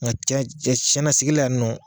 Nka ca cɛ siɛn na sigi la ya nɔ.